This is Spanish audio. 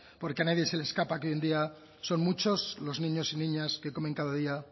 porque a nadie se le escapa que hoy en día son muchos los niños y niñas que comen cada día